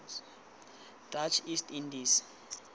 dutch east indies